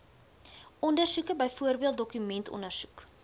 ondersoeke byvoorbeeld dokumentondersoek